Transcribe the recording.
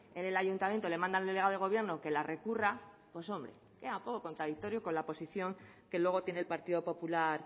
en el ayuntamiento le manda el delegado del gobierno que la recurra pues hombre queda un poco contradictorio con la posición que luego tiene el partido popular